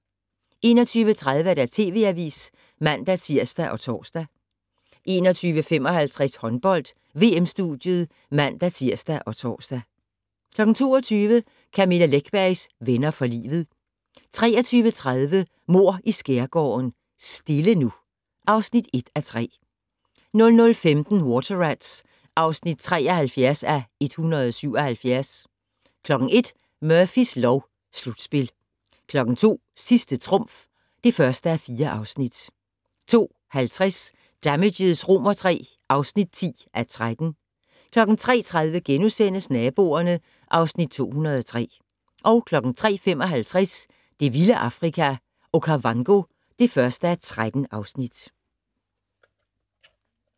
21:30: TV Avisen (man-tir og tor) 21:55: Håndbold: VM-studiet (man-tir og tor) 22:00: Camilla Läckbergs Venner for livet 23:30: Mord i Skærgården: Stille nu (1:3) 00:15: Water Rats (73:177) 01:00: Murphys lov: Slutspil 02:00: Sidste trumf (1:4) 02:50: Damages III (10:13) 03:30: Naboerne (Afs. 203)* 03:55: Det vilde Afrika - Okavango (1:13)